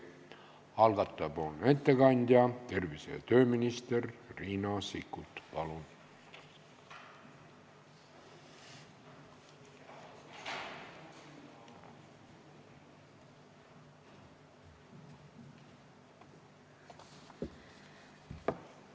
Algataja ettekandja tervise- ja tööminister Riina Sikkut, palun!